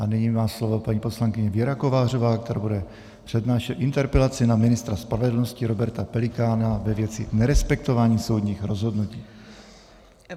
A nyní má slovo paní poslankyně Věra Kovářová, která bude přednášet interpelaci na ministra spravedlnosti Roberta Pelikána ve věci nerespektování soudních rozhodnutí.